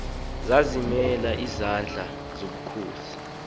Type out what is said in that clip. zazimonelana ngamandla nangobukhosi